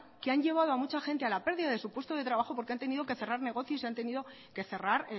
que han llevado a mucha gente a la pérdida de su puesto de trabajo porque han tenido que cerrar negocios y han tenido que cerrar